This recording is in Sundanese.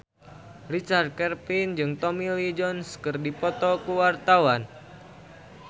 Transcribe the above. Richard Kevin jeung Tommy Lee Jones keur dipoto ku wartawan